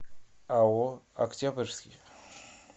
ао октябрьский